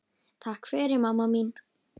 Takk fyrir mamma mín.